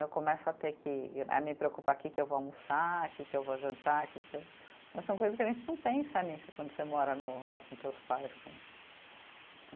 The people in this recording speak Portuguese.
Eu começo a ter que, a me preocupar que que eu vou almoçar, que que eu vou jantar, que que eu. São coisas que a gente não pensa nisso quando você mora no né, com teus pais, com.